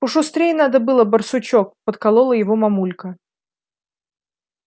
пошустрей надо было барсучок подколола его мамулька